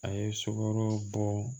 A ye sukoro bɔ